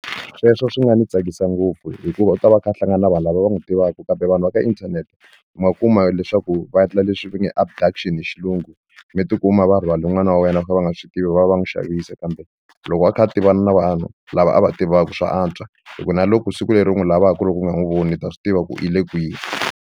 Sweswo swi nga ni tsakisa ngopfu hikuva u ta va a kha a hlangana na vanhu lava va n'wi tivaka kambe vanhu va ka inthanete ma kuma leswaku va endla leswi va nge abduction hi xilungu mi ti kuma va rhwale n'wana wa wena va kha va nga swi tivi va va va va n'wi xavisa kambe loko a kha a tivana na vanhu lava a va tivaka swa antswa hi ku na loko siku leri u n'wi lavaka loko u nga n'wi voni u ta swi tiva ku i le kwini.